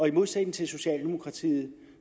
i modsætning til socialdemokratiet